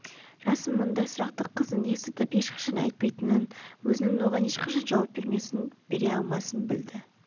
жасын мұндай сұрақты қыздың естіртіп ешқашан айтпайтынын өзінің оған ешқашан жауап бермесін бере алмасын білді